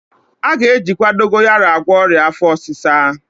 A ga-ejikwa dogoyaro agwọ ọrịa afọ ọsịsa